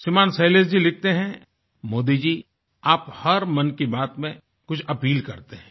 श्रीमान शैलेश जी लिखते हैंमोदी जी आप हर मन की बात में कुछ अपील करते हैं